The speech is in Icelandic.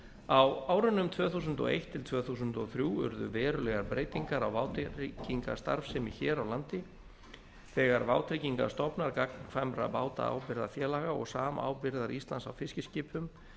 á árunum tvö þúsund og eitt til tvö þúsund og þrjú urðu verulegar breytingar á vátryggingastarfsemi hér á landi þegar vátryggingastofnar gagnkvæmra bátaábyrgðarfélaga og samábyrgðar íslands á fiskiskipum